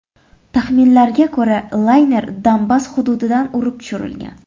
Taxminlarga ko‘ra, layner Donbass hududidan urib tushirilgan.